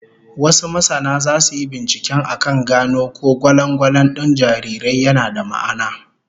Wasu masana zasu yi binciken akan gano ko gwalangwalan din jarirai yana da ma'ana.